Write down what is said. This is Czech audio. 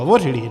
Hovořily.